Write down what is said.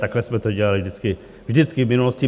Takhle jsme to dělali vždycky v minulosti.